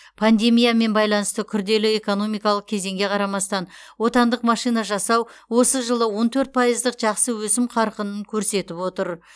пандемиямен байланысты күрделі экономикалық кезеңге қарамастан отандық машина жасау осы жылы он төрт пайыздық жақсы өсім қарқынын көрсетіп отыр